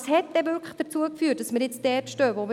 Was hat denn wirklich zur jetzigen Situation geführt?